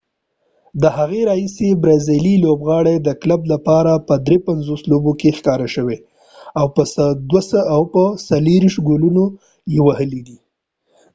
د هغې راهیسی برازیلی لوبغاړی د کلب لپاره په 53 لوبو کې ښکاره شوي او 24 ګولونه یې وهلی دي